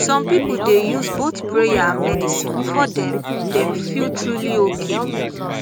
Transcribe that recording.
some people dey use both prayer and medicine before dem dem feel truly okay